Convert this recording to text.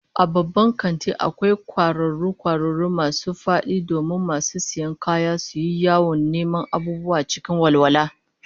A babban kanti akwai kwararo kwararo masu fadi domin masu sayan kaya suyi yawon neman abubuwa cikin walwala